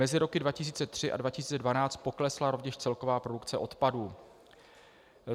Mezi roky 2003 a 2012 poklesla rovněž celková produkce odpadu.